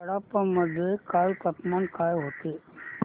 कडप्पा मध्ये काल तापमान काय होते